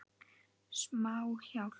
Smá hjálp.